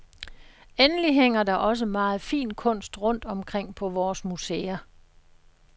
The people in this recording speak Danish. Endelig hænger der også meget fin kunst rundt omkring på vores museer.